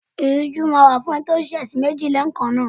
Ìrújú máa wà fún ẹni tó ń ṣẹ ẹ̀sìn mìíràn lẹ́ẹ̀kan náà.